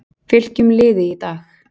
Fylkjum liði í dag-